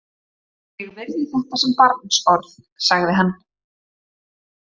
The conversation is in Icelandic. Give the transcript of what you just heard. Ég virði þetta sem barnsorð, sagði hann.